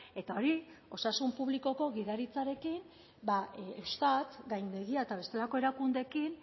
eta hori osasun publikoko gidaritzarekin eustat gaindegia eta bestelako erakundeekin